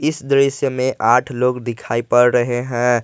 इस दृश्य में आठ लोग दिखाई पड़ रहे हैं।